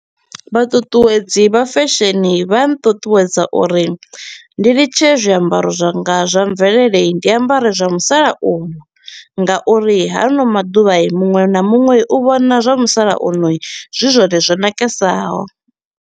Vha ṱuṱuwedzi vha fesheni vha nṱuṱuwedza uri ndi litshe zwiambaro zwanga zwa mvelele i ndi ambare zwa musalauno, nga uri haano maḓuvha muṅwe na muṅwe u vhona zwa musalauno zwi zwone zwo nakesaho.